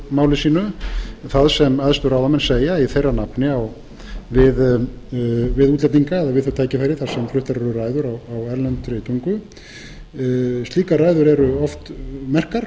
móðurmáli sínu það sem æðstu ráðamenn segja í þeirra nafni við útlendinga eða við þau tækifæri þar sem fluttar eru ræður á erlendri tagi slíkar ræður eru oft merkar